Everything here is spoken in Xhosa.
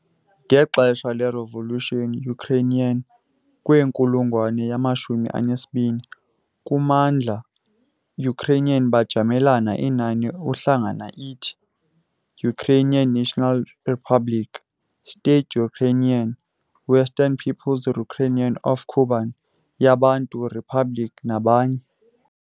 Ngexesha revolution Ukrainian kwenkulungwane yama-20 kwi kummandla Ukraine bajamelana inani uhlanga ithi- Ukrainian National Republic, State Ukrainian, Western Peoples Republic of Kuban yaBantu Republic nabanye.